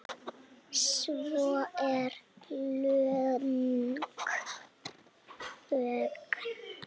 Svo er löng þögn.